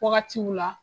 Wagatiw la